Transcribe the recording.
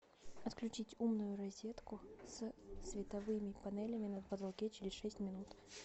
отключить умную розетку с световыми панелями на потолке через шесть минут